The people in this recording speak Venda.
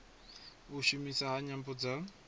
u shumiswa ha nyambo dza